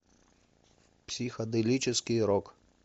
психоделический рок